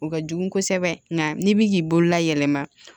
O ka jugu kosɛbɛ nka n'i bi k'i bolola yɛlɛma